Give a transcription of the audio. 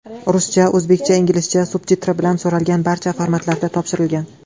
Ruscha, o‘zbekcha, inglizcha subtitri bilan, so‘ralgan barcha formatda topshirilgan.